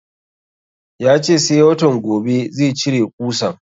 Ya ce sai watan gobe zai cire ƙusan